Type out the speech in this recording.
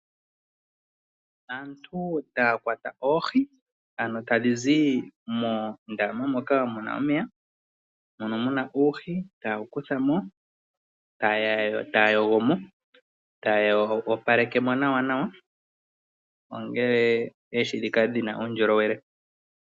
Aantu taya kwata oohi ano tadhizi moondama moka muna omeya mono muna oohi taya kuthamo taya yogomo, taya opalekemo nawa opo oohi dhikale dhina uundjolowele.